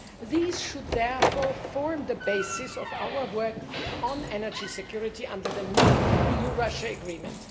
These should therefore form the basis of our work on energy security under the new EU Russia agreement.